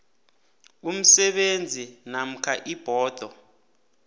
umsebenzi namkha ibhodo